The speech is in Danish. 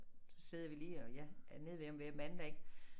Så sidder vi lige og jeg er nede ved ham hver mandag ik